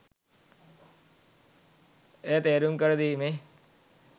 එය තේරුම් කර දීමේ